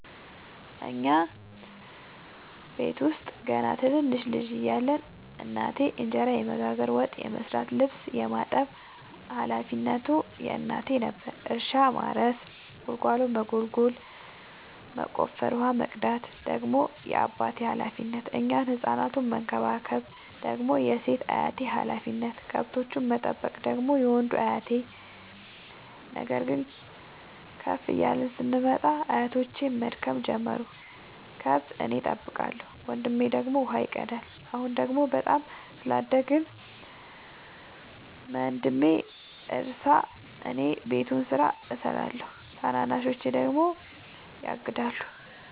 እኛ ቤተሰብ ውስጥ ገና ትንንሽ ልጅ እያለን እናቴ እንጀራ የመጋገር፤ ወጥ የመስራት ልብስ የማጠብ ሀላፊነቱ የእናቴ ነበረ። እርሻ ማረስ ጉልጎሎ መጎልጎል መቆፈር፣ ውሃ መቅዳት ደግሞ የአባቴ ሀላፊነት፤ እኛን ህፃናቱን መከባከብ ደግሞ የሴት አያቴ ሀላፊነት፣ ከብቶቹን መጠበቅ ደግሞ የወንዱ አያቴ። ነገር ግን ከፍ እያልን ስንመጣ አያቶቼም መድከም ጀመሩ ከብት እኔ ጠብቃለሁ። ወንድሜ ደግሞ ውሃ ይቀዳል። አሁን ደግሞ በጣም ስላደግን መንድሜ ያርሳ እኔ የቤቱን ስራ እሰራለሁ ታናናሾቼ ደግሞ ያግዳሉ።